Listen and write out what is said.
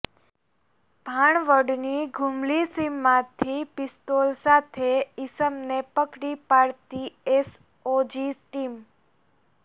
ભાણવડની ઘુમલી સીમમાંથી પિસ્તોલ સાથે ઈસમને પકડી પાડતી એસઓજી ટીમ